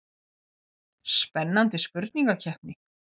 Spennandi spurningakeppni.